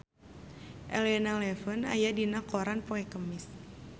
Elena Levon aya dina koran poe Kemis